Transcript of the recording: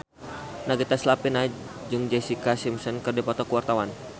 Nagita Slavina jeung Jessica Simpson keur dipoto ku wartawan